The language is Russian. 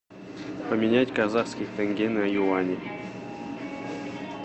поменять казахские тенге на юани